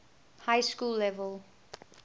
high school level